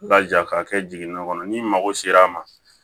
Ba ja ka kɛ jiginna kɔnɔ ni mago sera a ma